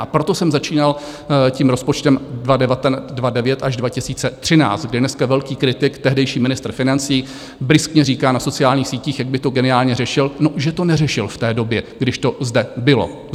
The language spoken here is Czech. A proto jsem začínal tím rozpočtem 2009 až 2013, kdy dneska velký kritik, tehdejší ministr financí, bryskně říká na sociálních sítích, jak by to geniálně řešil - no, že to neřešil v té době, když to zde bylo?